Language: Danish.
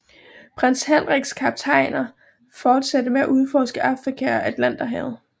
Prins Henriks kaptajner fortsatte med at udforske Afrika og Atlanterhavet